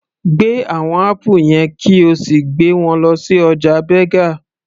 Gbé àwọn apple yẹn kí o sì gbé wọn lọ sí ọjà Berger